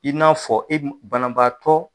I n'a fɔ e banabaatɔ